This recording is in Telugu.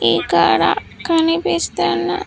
ఇక్కడ కనిపిస్తున్న--